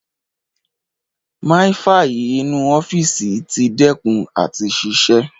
Máífaì inú ọ́fíìsì ti dẹ́kùn àti ṣiṣẹ́.